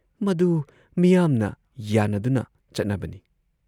ꯃꯗꯨ ꯃꯤꯌꯥꯝꯅ ꯌꯥꯟꯅꯗꯨꯅ ꯆꯠꯅꯕꯅꯤ ꯫